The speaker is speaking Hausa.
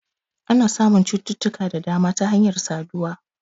Ana samun cututtuka da dama ta hanyar saduwa